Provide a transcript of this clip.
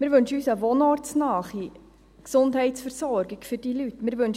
Wir wünschen uns eine wohnortsnahe Gesundheitsversorgung für diese Leute.